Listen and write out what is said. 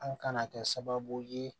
An kana kɛ sababu ye